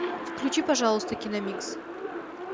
включи пожалуйста киномикс